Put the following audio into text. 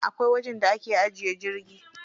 Akwai wajen da ake ajiye jirgi.